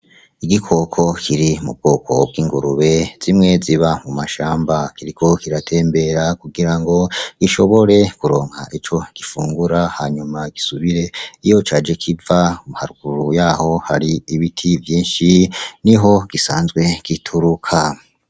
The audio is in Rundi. Igikoko kiri mu bwoko bw’ingurube zimwe ziba mu mashamba kiriko kiratembera kugira ngo gishobore kuronka ico gifungura hanyuma gisubire iyo caje kiva haruguru yaho hari ibiti vyinshi niho gisanzwe gituruka